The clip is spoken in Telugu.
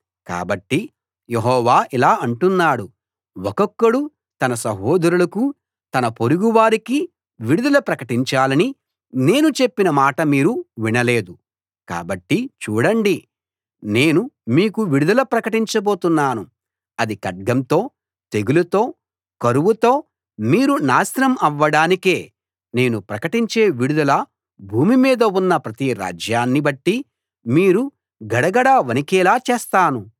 కాబట్టి యెహోవా ఇలా అంటున్నాడు ఒక్కొక్కడు తన సహోదరులకూ తన పొరుగువారికీ విడుదల ప్రకటించాలని నేను చెప్పిన మాట మీరు వినలేదు కాబట్టి చూడండి నేను మీకు విడుదల ప్రకటించబోతున్నాను అది ఖడ్గంతో తెగులుతో కరువుతో మీరు నాశనం అవ్వడానికే నేను ప్రకటించే విడుదల భూమి మీద ఉన్న ప్రతి రాజ్యాన్ని బట్టి మీరు గడగడా వణికేలా చేస్తాను